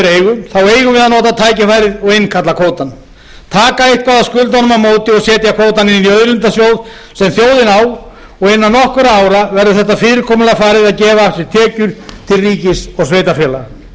eigum við að nota tækifærið og innkalla kvótann taka eitthvað af skuldunum á móti og setja kvótann inn í auðlindasjóð sem þjóðin á og innan nokkurra ára verður þetta fyrirkomulag farið að gefa af sér tekjur til ríkis og sveitarfélaga